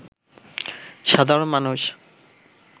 সাধারণ মানুষ